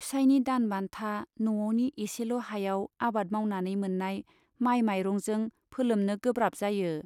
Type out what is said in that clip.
फिसाइनि दानबान्था, न'आवनि एसेल' हायाव आबाद मावनानै मोन्नाय माइ माइरंजों फोलोमनो गोब्राब जायो।